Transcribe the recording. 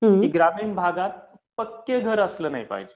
की ग्रामीण भागात पक्कं घर नाही असलं पाहिजे